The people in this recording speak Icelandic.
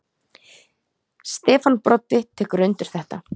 Stefán Broddi tekur undir þetta.